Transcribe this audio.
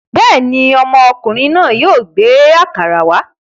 Bẹ́ẹ̀ ni, ọmọkùnrin náà yóò gbé àkàrà wá.